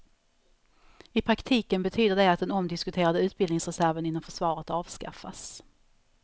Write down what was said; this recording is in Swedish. I praktiken betyder det att den omdiskuterade utbildningsreserven inom försvaret avskaffas.